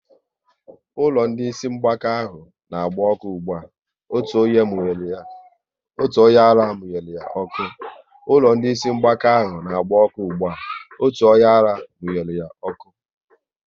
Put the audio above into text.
Ụlọ ndị Ịsị mgbaka ahụ n'agba ọkụ ụgbụa, otu onyeara munyere ya ọkụ